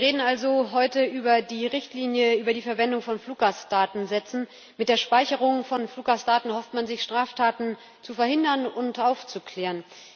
Wir reden also heute über die Richtlinie über die Verwendung von Fluggastdatensätzen. Mit der Speicherung von Fluggastdaten erhofft man sich, Straftaten zu verhindern und aufzuklären.